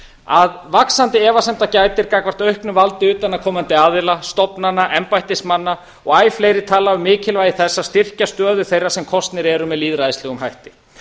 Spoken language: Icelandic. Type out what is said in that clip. að vaxandi efasemda gætir gagnvart auknu valdi utanaðkomandi aðila stofnana embættismanna og æ fleiri tala um mikilvægi þess að styrkja stöðu þeirra sem kosnir eru með lýðræðislegum hætti